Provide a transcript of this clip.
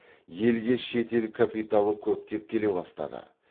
елге шет ел капиталы көптеп келе бастады